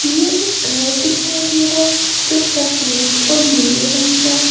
यह एक घर दिखाई दे रहा है जो शफेद और नीले रंग का है।